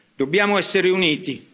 Dobbiamo essere uniti.